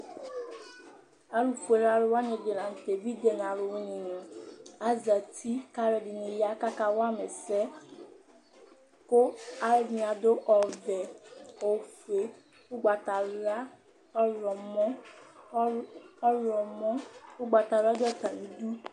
Alufuele alu wani ɛdɩ lanʋ tɛ: evidze nʋ alu wini nɩ, azǝti; kʋ alu ɛdɩnɩ aya, kʋ aka wama ɛsɛ, kʋ alu ɛdɩnɩ adu ɔvɛ, ofue, ugbatawla, ɔɣlɔmɔ Ugbatawla du atamidu